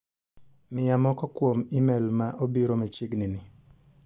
Miya moko kuom imel ma obiro machegni ni.